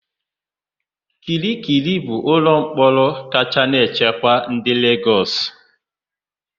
Kirikiri bụ ụlọmkpọrọ kacha na nchekwa dị na Legọs.